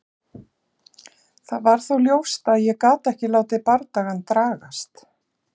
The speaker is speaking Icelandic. Það var þó ljóst að ég gat ekki látið bardagann dragast.